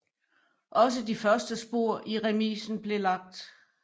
Også de første spor i remisen blev lagt